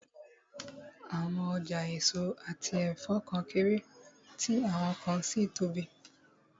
Àwọn ọjà èso àti ẹ̀fọ́ kan kéré, tí àwọn kan sì tóbi